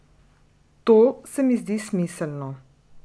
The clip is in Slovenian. To se mi zdi smiselno.